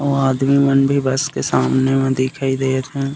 उहाँ आदमी मन भी बस के सामने में दिखाई देत हे।